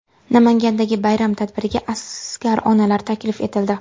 Namangandagi bayram tadbiriga askar onalari taklif etildi.